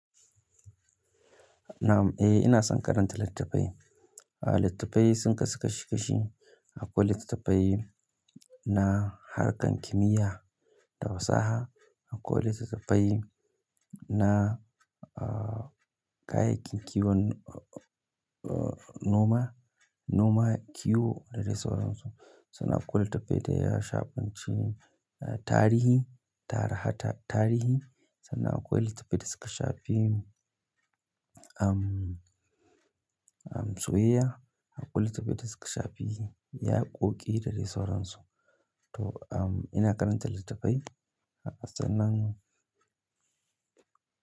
Nam, eh ina son karanta littattafai. Ah littattafai sun kasu kashi kashi. Akwai littattafai na harkan kimiyya da fasaha, akwai littattafai na ah kayayyakin kiwon noma, noma, kiwo da dai sauran su. Sunna akwai littattafai da ya shafanci tarihi, ta tarihi, sannan akwai littattafai da suka shafi um, um soyayya, akwai littattafai da suka shafi yaƙoƙi da dai sauran su. To umm ina karanta litattafai, sannan.